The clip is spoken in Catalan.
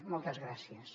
moltes gràcies